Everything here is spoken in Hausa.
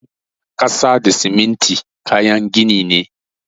Ƙasa da siminti kayan gini ne.